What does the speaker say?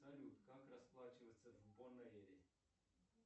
салют как расплачиваться в бонэйре